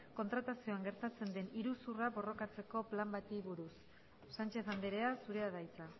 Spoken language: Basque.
kontratazioan gertatzen den iruzurra borrokatzeko plan bati buruz sánchez andrea zurea da hitza